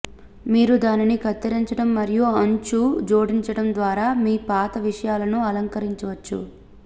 మీరు దానిని కత్తిరించడం మరియు అంచు జోడించడం ద్వారా మీ పాత విషయాలను అలంకరించవచ్చు